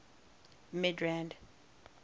midrand